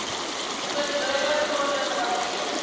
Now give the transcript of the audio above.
verbode gronde gebaseer